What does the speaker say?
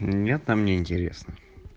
нет там неинтересно